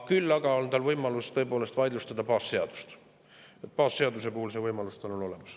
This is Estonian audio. Küll aga on tal võimalus tõepoolest vaidlustada baasseadust, baasseaduse puhul on see võimalus tal olemas.